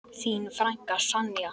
Þín frænka, Sonja.